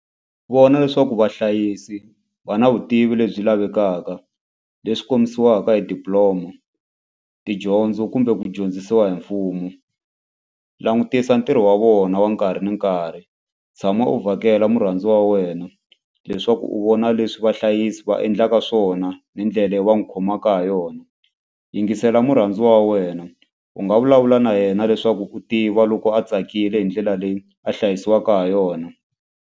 Vona leswaku vahlayisi va na vutivi lebyi lavekaka leswi kombisiwaka hi diploma tidyondzo kumbe ku dyondzisiwa hi mfumo langutisa ntirho wa vona wa nkarhi ni nkarhi tshama u vhakela murhandziwa wa wena leswaku u vona leswi vahlayisi va endlaka swona ni ndlela yo wa n'wi khomaka ha yona yingisela murhandziwa wa wena u nga vulavula na yena leswaku u tiva loko a tsakile hi ndlela leyi a hlayisiwaka ha yona.